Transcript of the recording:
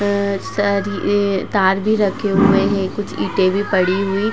Sorry एं तार भी रखे हुए हैं। कुछ ईटे भी पड़ी हुई --